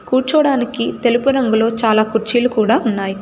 కూర్చోడానికి తెలుపు రంగులో చాలా కుర్చీలు కూడా ఉన్నాయ్.